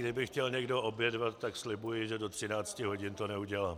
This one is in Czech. Kdyby chtěl někdo obědvat, tak slibuji, že do 13 hodin to neudělám.